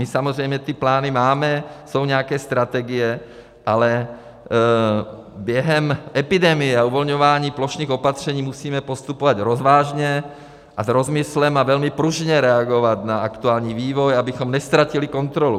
My samozřejmě ty plány máme, jsou nějaké strategie, ale během epidemie a uvolňování plošných opatření musíme postupovat rozvážně a s rozmyslem a velmi pružně reagovat na aktuální vývoj, abychom neztratili kontrolu.